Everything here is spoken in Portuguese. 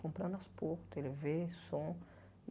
Fui comprando as poucos, Tê Vê, som.